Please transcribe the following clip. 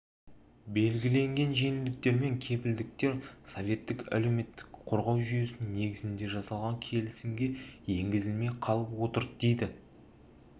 белгіленген жеңілдіктер мен кепілдіктер советтік әлеуметтік қорғау жүйесінің негізінде жасалған келісімге енгізілмей қалып отыр дейді